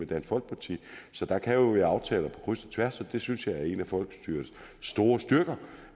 dansk folkeparti så der kan være aftaler på kryds og tværs og jeg synes at det er en af folkestyrets store styrker